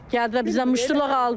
Gəldilər bizdən muştuluq aldı.